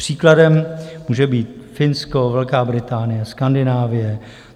Příkladem může být Finsko, Velká Británie, Skandinávie.